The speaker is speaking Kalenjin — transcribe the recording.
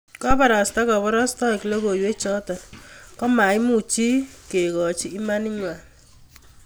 Kobarasta koborostoik logoiwechoto komaimu chi kekoch imanigwai